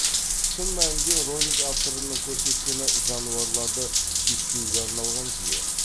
шын мәнінде ролик авторының көрсеткені жануарларды чиптеуге арналған жүйе